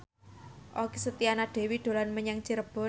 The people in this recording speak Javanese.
Okky Setiana Dewi dolan menyang Cirebon